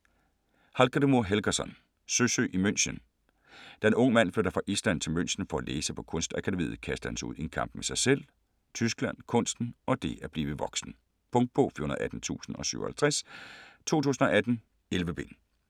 Hallgrímur Helgason: Søsyg i München Da Ung Mand flytter fra Island til München for at læse på Kunstakademiet, kastes han ud i en kamp med sig selv, Tyskland, kunsten og det at blive voksen. Punktbog 418057 2018. 11 bind.